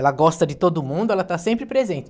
Ela gosta de todo mundo, ela está sempre presente.